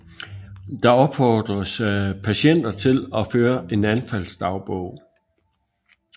Der opfordres patienter til at føre en anfaldsdagbog